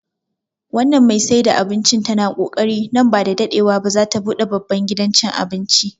Wannan mai saida abincin tana kokari, nan ba da daɗewa ba za ta buɗe babban gidan cin abinci